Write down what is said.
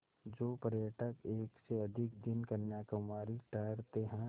जो पर्यटक एक से अधिक दिन कन्याकुमारी ठहरते हैं